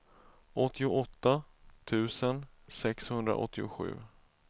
åttioåtta tusen sexhundraåttiosju